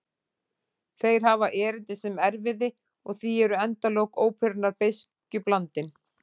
Þeir hafa erindi sem erfiði og því eru endalok óperunnar beiskju blandin.